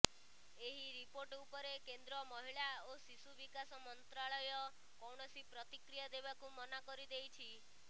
ଏହି ରିପୋର୍ଟ ଉପରେ କେନ୍ଦ୍ର ମହିଳା ଓ ଶିଶୁ ବିକାଶ ମନ୍ତ୍ରାଳୟ କୌଣସି ପ୍ରତିକ୍ରିୟା ଦେବାକୁ ମନା କରିଦେଇଛି